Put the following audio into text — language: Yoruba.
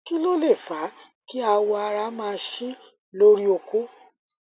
kí ló lè fa kí awọ ara máa ṣí lórí okó